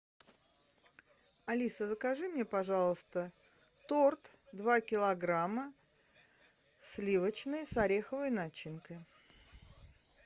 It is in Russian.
алиса закажи мне пожалуйста торт два килограмма сливочный с ореховой начинкой